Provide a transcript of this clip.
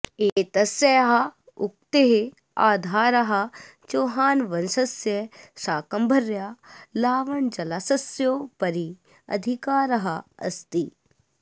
एतस्याः उक्तेः आधारः चौहानवंशस्य शाकम्भर्याः लावणजलाशयस्योपरि अधिकारः अस्ति